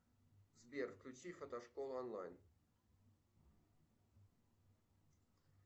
сбер включи фотошкола онлайн